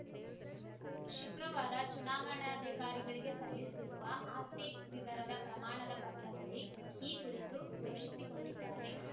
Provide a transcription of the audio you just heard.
ಶುಕ್ರವಾರ ಚುನಾವಣಾಧಿಕಾರಿಗಳಿಗೆ ಸಲ್ಲಿಸಿರುವ ಆಸ್ತಿ ವಿವರದ ಪ್ರಮಾಣದ ಪತ್ರದಲ್ಲಿ ಈ ಕುರಿತು ಘೋಷಿಸಿಕೊಂಡಿದ್ದಾರೆ